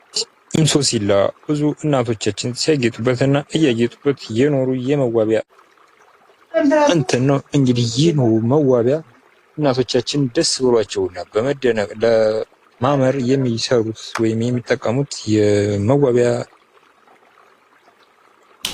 እንሶስላ ብዙ እናቶቻችንና ሲያጌጡበት እያጌጡበት የኖሮ የመዋቢያ ነው ። እንግዲህ ይህ መዋቢያ እናቶዎቻችን ደስ ብሎአቸውና በመደነቅ የሚሰሩት ለማማር እና ለመደነቅ የሚጠቀሙት የመዋቢያ ነው ።